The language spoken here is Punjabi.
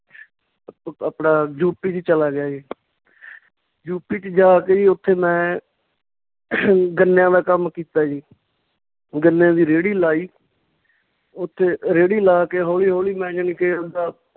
ਆਪਣਾ ਯੂਪੀ ਚ ਚੱਲਾ ਗਿਆ ਜੀ ਯੂਪੀ ਚ ਜਾ ਕੇ ਜੀ ਉੱਥੇ ਮੈਂ ਗੰਨਿਆਂ ਦਾ ਕੰਮ ਕੀਤਾ ਜੀ ਗੰਨਿਆਂ ਦੀ ਰੇਹੜੀ ਲਾਈ ਉੱਥੇ ਰੇਹੜੀ ਲਾ ਕੇ ਹੌਲੀ ਹੌਲੀ ਮੈਂ ਜਾਣੀ ਕਿ ਆਵਦਾ